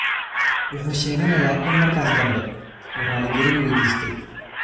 Wuxuu sheeganayaa in markaas dambe uu raalli-gelin weydiistay.